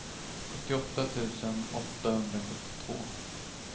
sjuttioåtta tusen åttahundrasjuttiotvå